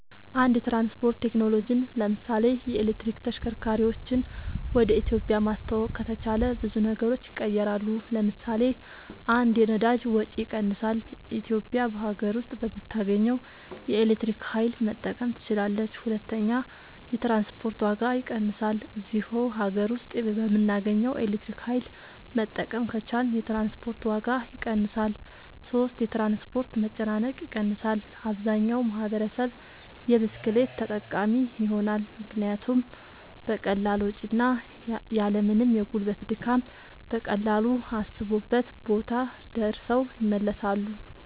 አድስ የትራንስፖርት ቴክኖሎጅን ለምሳሌ የኤሌክትሪክ ተሽከርካርወችን ወደ ኢትዮጵያ ማስተዋወቅ ከተቻለ ብዙ ነገሮች ይቀየራሉ ለምሳሌ 1 የነዳጅ ወጭ ይቀንሳል ኢትዮጵያ በሀገር ውስጥ በምታገኘው የኤሌክትሪክ ኃይል መጠቀም ትችላለች 2 የትራንስፖርት ዋጋ ይቀንሳል እዚሁ ሀገር ውስጥ በምናገኘው ኤሌክትሪክ ኃይል መጠቀም ከቻልን የትራንስፖርት ዋጋ ይቀንሳል 3 የትራንስፖርት መጨናነቅ ይቀንሳል አብዛኛው ማህበረሰብ የብስክሌት ተጠቃሚ ይሆናልምክንያቱም በቀላል ወጭ እና ያልምንም የጉልበት ድካም በቀላሉ አሰቡበት ቦታ ደርሰው ይመለሳሉ